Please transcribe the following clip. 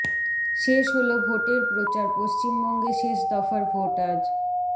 শেষ হলো ভোটের প্রচার পশ্চিমবঙ্গে শেষ দফার ভোট আজ